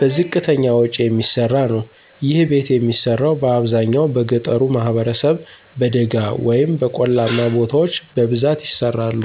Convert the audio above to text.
በዝቅተኛ ወጭ የሚሰራ ነዉ። ይህ ቤት የሚሰራው በአብዛኛው በገጠሩ ማህበረሰብ በደጋ ወይም በቆላማ ቦታዎች በብዛት ይሰራሉ።